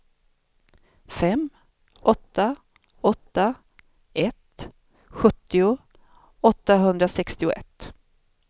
fem åtta åtta ett sjuttio åttahundrasextioett